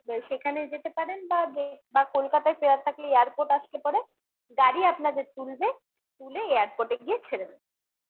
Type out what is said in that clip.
সেখানে যেতে পারেন বা যে বা কলকাতায় ফেরার থাকলে airport আসলে পরে গাড়ি আপনাদের তুলবে তুলে airport এ গিয়ে ছেড়ে দেবে